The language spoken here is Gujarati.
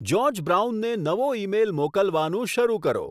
જ્યોર્જ બ્રાઉનને નવો ઈમેઈલ મોકલવાનું શરુ કરો